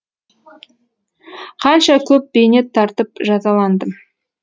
қанша көп бейнет тартып жазаландым